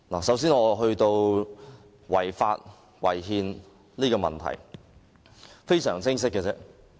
首先，我會談違法、違憲的問題，這是非常清晰的。